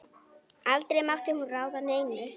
Aldrei mátti hún ráða neinu.